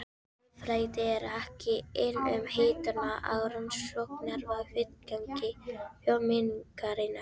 Þjóðfræði er ekki ein um hituna á rannsóknarvettvangi þjóðmenningarinnar.